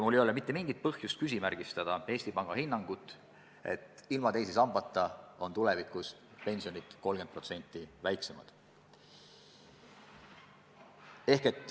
Mul ei ole mitte mingit põhjust küsimärgistada Eesti Panga hinnangut, et ilma teise sambata on tulevikus pensionid 30% väiksemad.